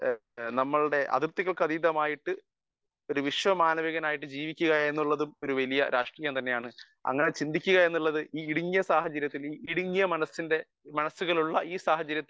speaker 1 നമ്മളുടെ അതിർത്തികൾക്ക് അതീതമായിട്ടു ഒരു വിശ്വ മാനവികനായിട്ടു ജീവിക്കുക എന്നുള്ളത് ഒരു വലിയ രാഷ്ട്രീയം തന്നെയാണ് അങ്ങനെ ചന്തിക്കുക എന്നുള്ളത് ഈ ഇടുങ്ങിയ സാഹചര്യത്തിൽ ഈ ഇടുങ്ങിയ മനസ്സിന്റെ ഇടുങ്ങിയ മനസ്സുകൾ ഉള്ള ഈ സാഹചര്യത്തിൽ